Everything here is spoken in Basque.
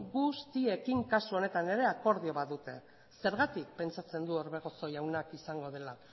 guztiekin kasu honetan ere akordio bat dute zergatik pentsatzen du orbegozo jaunak izango dela